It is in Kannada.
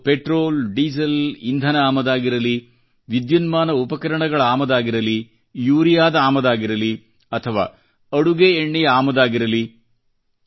ಅದು ಪೆಟ್ರೋಲ್ ಡೀಸೆಲ್ ಇಂಧನ ಆಮದಾಗಿರಲೀ ವಿದ್ಯುನ್ಮಾನ ಉಪಕರಣಗಳ ಆಮದಾಗಿರಲೀ ಯೂರಿಯಾದ ಆಮದಾಗಿರಲೀ ಅಥವಾ ಅಡುಗೆ ಎಣ್ಣೆಯ ಆಮದಾಗಿರಲಿ